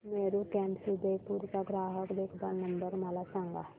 Meru cabs Udaipur चा ग्राहक देखभाल नंबर मला सांगा